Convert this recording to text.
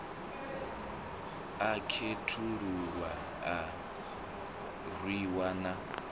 a khethululwa a rwiwa na